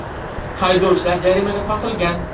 Haydovchilar jarimaga tortilgan.